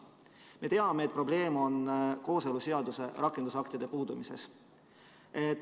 Me teame, et probleem on kooseluseaduse rakendusaktide puudumises.